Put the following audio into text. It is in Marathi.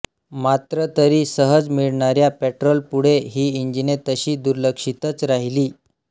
मात्र तरी सहज मिळणाऱ्या पेट्रोल पुढे ही इंजिने तशी दुर्लक्षीतच राहिली